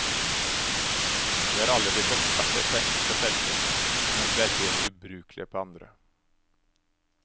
Vi har alle blitt eksperter på enkelte felter, mens vi er helt ubrukelige på andre.